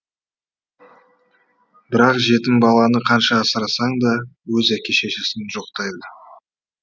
бірақ жетім баланы қанша асырасаң да өз әке шешесін жоқтайды